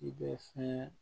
I bɛ fɛn